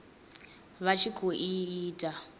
vha tshi khou i ita